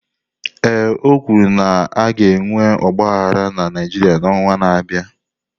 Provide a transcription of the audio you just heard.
Ee, o kwuru na a ga-enwe ọgba aghara na Naịjirịa n'ọnwa na-abịa.